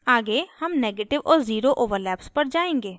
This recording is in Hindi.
आगे हम negative और zero overlaps पर जायेंगे